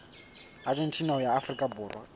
argentina ho ya afrika borwa